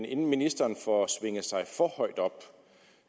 inden ministeren får svinget sig for højt op